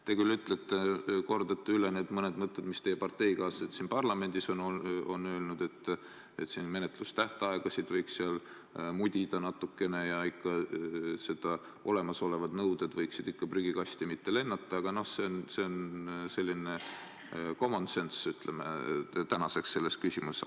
Te küll ütlete – õigemini kordate üle need mõned mõtted, mis teie parteikaaslased siin parlamendis on öelnud –, et menetlustähtaegasid võiks seal mudida natukene ja olemasolevad nõuded võiksid mitte prügikasti lennata, kuid see on selline, ütleme, common sense praeguseks selles küsimuses.